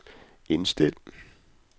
indstil